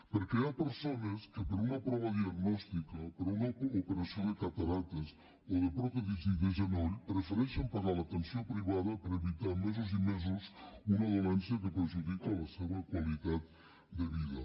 perquè hi ha persones que per a una prova diagnòstica per a una operació de cataractes o de pròtesi de genoll prefereixen pagar l’atenció privada per evitar mesos i mesos un mal que perjudica la seva qualitat de vida